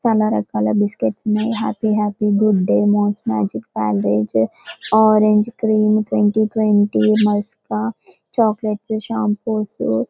చాలా రకాల బిస్కెట్స్ ఉన్నాయి. Happy happy good day Mom's magic Parle G orange cream twenty twenty మేష్ప చాక్లెట్స్ షాంపోస్ --